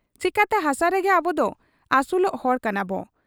ᱪᱮᱠᱟᱛᱮ ᱦᱟᱥᱟ ᱨᱮᱜᱮ ᱟᱵᱚᱫᱚ ᱟᱹᱥᱩᱞᱚᱜ ᱦᱚᱲ ᱠᱟᱱᱟᱵᱚ ᱾